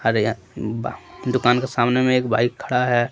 दुकान के सामने में एक बाइक खड़ा है।